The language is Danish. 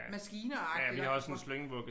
Maskiner agtig og hvor